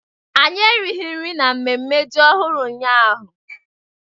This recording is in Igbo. Anyị erighị nri n'ememme ji ọhụrụ ụnyahụ.